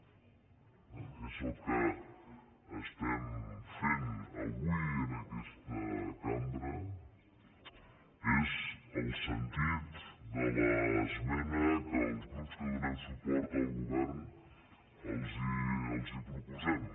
és el que estem fent avui en aquesta cambra és el sentit de l’esmena que els grups que donem suport al govern els proposem